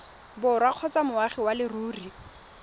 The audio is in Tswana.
borwa kgotsa moagi wa leruri